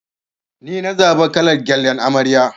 Nina zaɓa kalar gyallan amarya.